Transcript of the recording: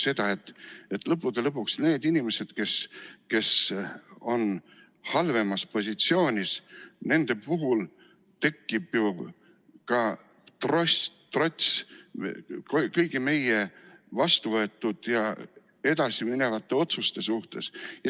See teeb seda, et lõppude lõpuks nendel inimestel, kes on halvemas positsioonis, tekib ka trots kõigi meie vastuvõetud ja edasiste otsuste vastu.